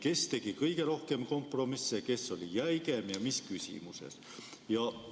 Kes tegi kõige rohkem kompromisse, kes oli jäigem ja mis küsimuses?